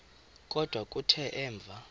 kodwa kuthe emva